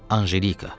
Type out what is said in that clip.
Anjelika.